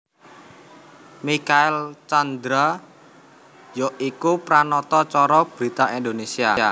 Michael Tjandra ya iku Pranata Cara brita Indonésia